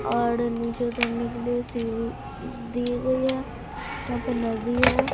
और नीचे उतने के लिए सीढ़ी दी गई है यहां पे नदी है।